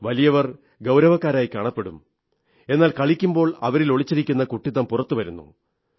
വലിയവർ ഗൌരവക്കാരായി കാണപ്പെടും എന്നാൽ കളിക്കുമ്പോൾ അവരിൽ ഒളിച്ചിരിക്കുന്ന കുട്ടിത്തം പുറത്തുവരുന്നു